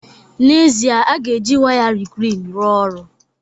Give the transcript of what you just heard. N'ezie, a ga-eji waya reclean rụọ ọrụ